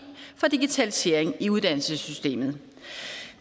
for digitalisering i uddannelsessystemet